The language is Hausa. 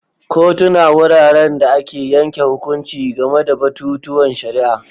Kotuna wuraren da ake yanke hukunci game da batutuwan shari'a.